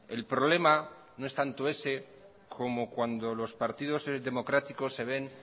el problema no es tanto ese como cuando los partidos democráticos se ven